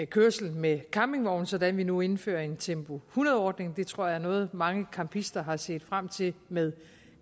kørsel med campingvogn sådan at vi nu indfører en tempo hundrede ordning det tror jeg er noget mange campister har set frem til med